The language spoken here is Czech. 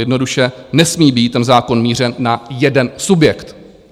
Jednoduše nesmí být ten zákon mířen na jeden subjekt.